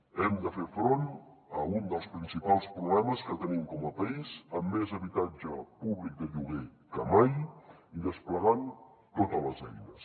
hem de fer front a un dels principals problemes que tenim com a país amb més habitatge públic de lloguer que mai i desplegant totes les eines